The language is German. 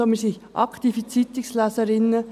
Wir sind aktive Zeitungsleserinnen.